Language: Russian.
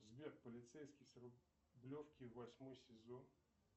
сбер полицейский с рублевки восьмой сезон